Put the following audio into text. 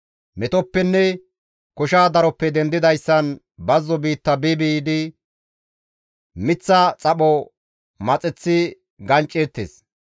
Metoppenne kosha daroppe dendidayssan bazzo biitta bi biidi miththa xapho maxeththi gancceettes.